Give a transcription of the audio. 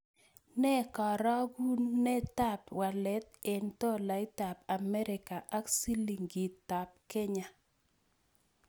Nee karogunetap walet eng' tolaitap Amerika ak silingitap Kenya